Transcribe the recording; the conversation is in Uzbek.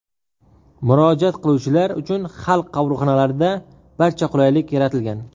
Murojaat qiluvchilar uchun Xalq qabulxonalarida barcha qulaylik yaratilgan.